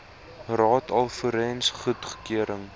raad alvorens goedkeuring